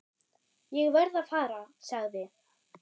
Ég verð að fara, sagði